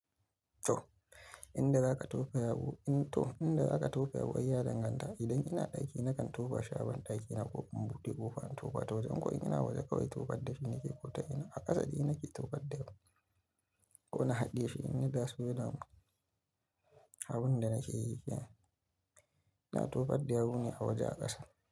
To, inda za ka tofa yawu, to inda za ka tofa yawu ai ya danganta. Idan ina ɗaki nakan tofa shi a ban ɗakina ko in bude ƙofa in tofa waje. Ko in ina waje kawai tofa dafi nake ko ta ina a ƙasa din nake tofar da yawu ko na haɗe shi. Ni gas welder namu, abun da nake yi kenan. Ka tofar da yawu neh a waje a ƙasa.